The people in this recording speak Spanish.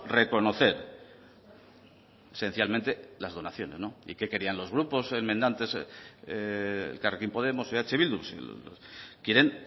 reconocer esencialmente las donaciones y qué querían los grupos enmendantes elkarrekin podemos eh bildu quieren